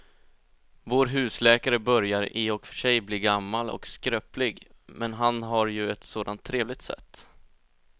Vår husläkare börjar i och för sig bli gammal och skröplig, men han har ju ett sådant trevligt sätt!